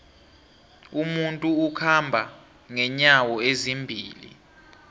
umuntu ukhamba nqenyawo ezimbili